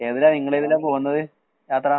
ഏതിലാ നിങ്ങളേത്തിലാ പോകന്നത് യാത.